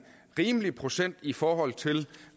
rimelig procent i forhold til